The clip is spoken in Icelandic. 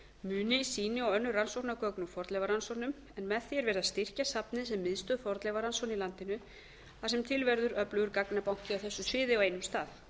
muni sýni og önnur rannsóknargögn úr fornleifarannsóknum en með því er verið að styrkja safnið sem miðstöð fornleifarannsókna í landinu þar sem til verður öflugur gagnabanki á þessu sviði á einum stað